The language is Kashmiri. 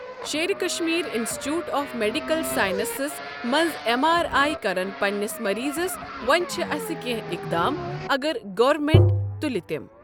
Sher Kashmir institute of medical sciences منٛز ایم آر آی کرن پننِس مٔریضس وۄنۍ چھِ اسہِ کینٛہہ ایٚقدام اگر گورمینٛٹ تُلہِ تِم۔